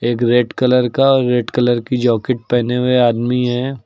एक red colour का और रेड कलर की जैकेट पहने हुए आदमी है।